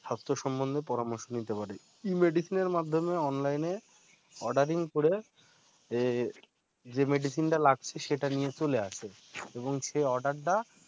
স্বাস্থ্য সম্বন্ধে পরামর্শ নিতে পারে। e-medicine র মাধ্যমে online online ordering করে যে medicine টা লাগছে সেটা নিয়ে চলে আসে এবং সে order টা